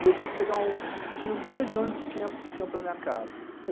E eu tinha que pegar, tinham dois ônibus que iam para a minha casa.